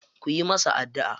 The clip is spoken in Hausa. Ku yi masa addu'a.